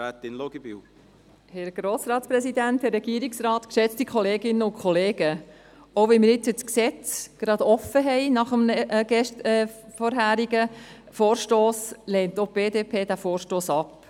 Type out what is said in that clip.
Auch wenn wir jetzt das Gesetz nach dem vorherigen Vorstoss gerade offen haben, lehnt auch die BDP diesen Vorstoss ab.